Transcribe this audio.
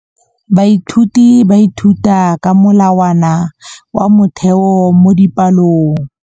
Baithuti ba ithuta ka molawana wa motheo mo dipalong.